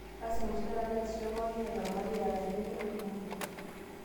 Lasima oshi taata neesisho pooki ng'ae tolmarei eeta akeyie laarin oota